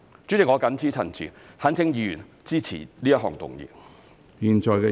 主席，我謹此陳辭，懇請議員支持這項議案。